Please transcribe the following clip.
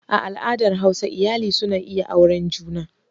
A al'adar hausa iyali suna iya auren juna.